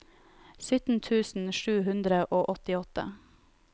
sytten tusen sju hundre og åttiåtte